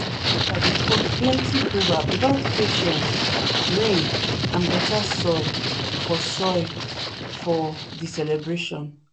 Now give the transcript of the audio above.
ok plenty proverb about patience rain and better soil for soil for the celebration.